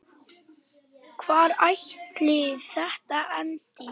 Hvar ætli þetta endi?